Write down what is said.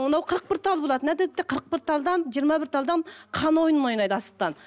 мынау қырық бір тал болады қырық бір талдан жиырма бір талдан хан ойынын ойнайды асықтан